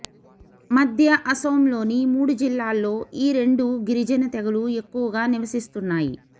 మధ్య అసోంలోని మూడు జిల్లాల్లో ఈ రెండు గిరి జన తెగలు ఎక్కువగా నివసిస్తున్నాయి